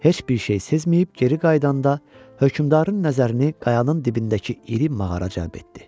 Heç bir şey sezməyib geri qayıdanda, hökmdarın nəzərini qayanın dibindəki iri mağara cəlb etdi.